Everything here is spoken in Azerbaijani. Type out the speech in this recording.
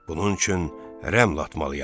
Bunun üçün rəml atmalıyam.